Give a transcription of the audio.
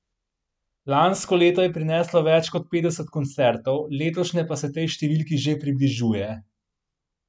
Lansko leto je prineslo več kot petdeset koncertov, letošnje pa se tej številki že približuje.